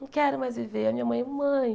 Não quero mais viver, a minha mãe... Mãe!